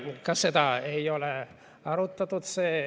Ka seda ei ole arutatud.